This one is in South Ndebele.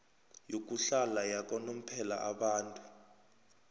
yokuhlala yakanomphela abantu